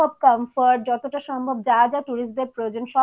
comfort যতটা সম্ভব যা যা tourist দের প্রয়োজন